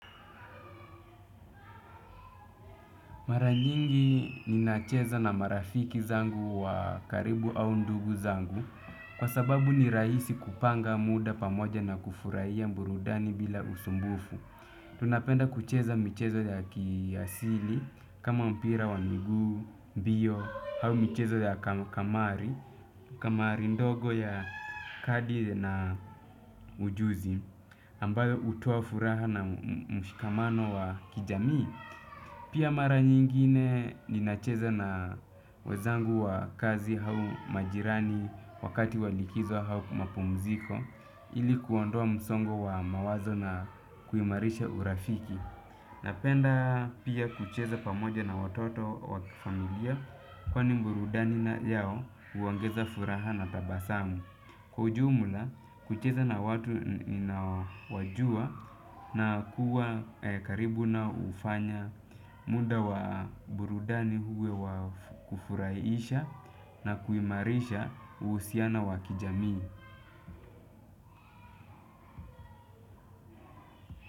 Mara nyingi ninacheza na marafiki zangu wa karibu au ndugu zangu kwa sababu ni rahisi kupanga muda pamoja na kufurahia burudani bila usumbufu. Tunapenda kucheza michezo ya kiasili kama mpira wa miguu, mbio au michezo ya kamari. Kamari ndogo ya kadi na ujuzi ambayo hutoa furaha na mshikamano wa kijamii. Pia mara nyingine ninacheza na wezangu wa kazi au majirani wakati walikizo au mapumziko ili kuondoa msongo wa mawazo na kuimarisha urafiki. Napenda pia kucheza pamoja na watoto wa familia kwa ni burudani yao huongeza furaha na tabasamu. Kwa ujumla, kucheza na watu ninaonawajua na kuwa karibu nao hufanya muda wa burudani uwe wakufurahisha na kuimarisha uhusiano wakijamii.